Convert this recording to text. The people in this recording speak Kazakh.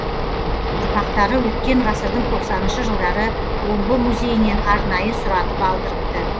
ұрпақтары өткен ғасырдың тоқсаныншы жылдары омбы музейінен арнайы сұратып алдырыпты